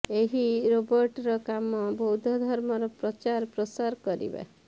ଏହି ରୋବର୍ଟର କାମ ବୌଦ୍ଧ ଧର୍ମର ପ୍ରଚାର ପ୍ରସାର କରିବା